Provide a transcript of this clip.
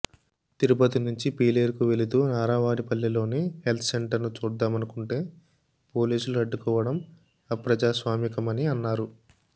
తిరుపతి నుంచి పీలేరుకు వెళుతూ నారావారిపల్లెలోని హెల్త్సెంటర్ను చూద్దామనుకుంటే పోలీసులు అడ్డుకోవడం అప్రజాస్వామికమని అన్నారు